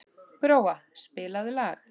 Gróa, spilaðu lag.